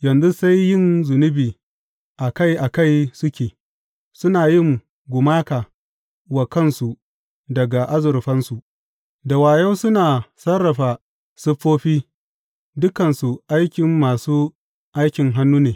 Yanzu sai yin zunubi a kai a kai suke; suna yin gumaka wa kansu daga azurfansu, da wayo suna sarrafa siffofi, dukansu aikin masu aikin hannu ne.